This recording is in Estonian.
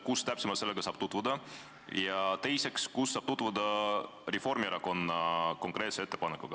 Kus selle Reformierakonna ettepaneku täpse tekstiga saab tutvuda?